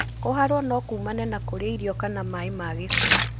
Kũharwo no kumane na kũrĩa irio kana maĩ ma gĩko.